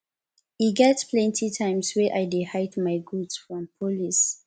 e get plenty times wey i dey hide my goods from police